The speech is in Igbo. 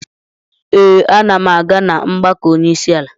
Ee, ana m aga na mgbakọ onyeisiala.